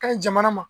Ka ɲi jamana ma